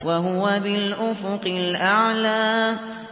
وَهُوَ بِالْأُفُقِ الْأَعْلَىٰ